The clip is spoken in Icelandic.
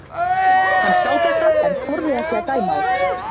Hann sá þetta en þorði ekki að dæma á þetta.